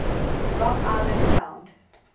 long island sound